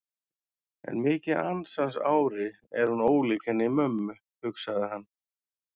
En mikið ansans ári er hún ólík henni mömmu, hugsaði hann.